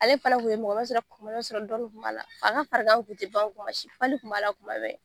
Ale fana Kun ye kuma bɛɛ i ba sɔrɔ dɔɔni kun b'a la. A ka farigan kun te ban kuma si.